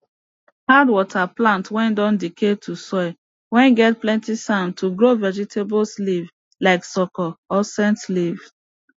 add water plant whey don decay to soil whey get plenty sand to grow vegetables leafs like soko or scent leaf